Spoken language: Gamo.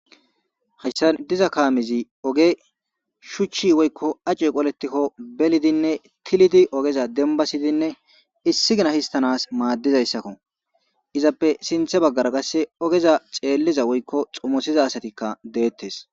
Hayssan diza kaamizi oge shuchchi woykko acu qoletikko belidinne tilidi ogeza denbasidinne issi gina histanas maaddizayssakko izappe sinthe baggara kasse ogeza xeelliza woykko xumosiza asatikka deettes.